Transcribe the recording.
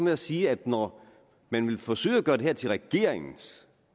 jeg sige at når man vil forsøge at gøre det her til regeringens